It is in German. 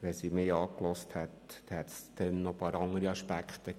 Hätte mich die Kommission angehört, wären noch einige weitere Aspekte hinzugekommen.